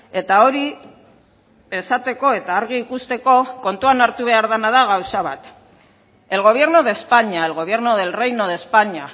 eta hori esateko eta argi ikusteko kontuan hartu behar dena da gauza bat el gobierno de españa el gobierno del reino de españa